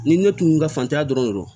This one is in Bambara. Ni ne tun ka fantanya dɔrɔn do